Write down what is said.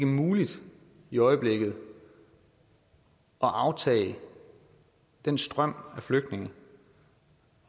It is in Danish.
muligt i øjeblikket at aftage den strøm af flygtninge